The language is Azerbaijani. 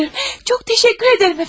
Çox təşəkkür edirəm əfəndim.